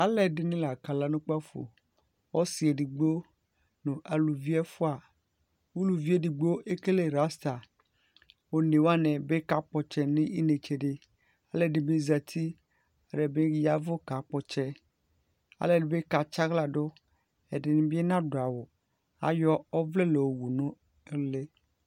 Alʋ ɛdi ni la kala nʋ kpafo Ɔsi ɛdigbo nʋ aluvi ɛfua Uluvi e ɛdigbo ekele rasta, one wani bi kakpɔ ɔtsɛ nʋ inetsɛ di Alʋ ɛdi bi zati, alʋ ɛdi bi yavʋ kakpɔ ɔtsɛ Alʋ ɛdi bi katsi aɣla dʋ, ɛdi ni bi nadʋ awʋ Ayɔ ɔvlɛ la yɔwu nʋ ʋli